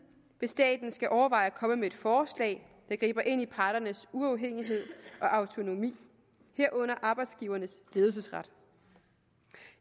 hvis staten skal overveje at komme med et forslag der griber ind i parternes uafhængighed og autonomi herunder arbejdsgivernes ledelsesret